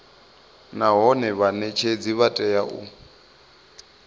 nahone vhanetshedzi vha tea u